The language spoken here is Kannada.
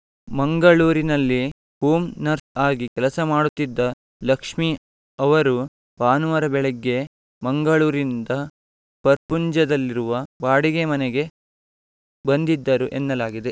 ಮಂಗಳೂರಿನಲ್ಲಿ ಹೋಮ್ ನರ್ಸ್ ಆಗಿ ಕೆಲಸ ಮಾಡುತ್ತಿದ್ದ ಲಕ್ಷ್ಮೀ ಅವರು ಭಾನುವಾರ ಬೆಳಿಗ್ಗೆ ಮಂಗಳೂರಿನಿಂದ ಪರ್ಪುಂಜದಲ್ಲಿರುವ ಬಾಡಿಗೆ ಮನೆಗೆ ಬಂದಿದ್ದರು ಎನ್ನಲಾಗಿದೆ